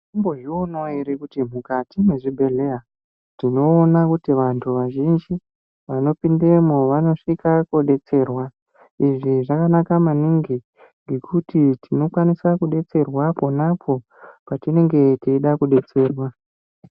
Munombozvionawo here kuti mukati mezvibhedhlera kuti vantu vazhinji vanosvika kudetserwa izvi zvakanaka maningi ngekuti tinokwanisa kudetserwa pona apo patinenge teida kudetserwa.